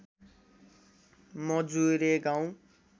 मजुरे गाउँ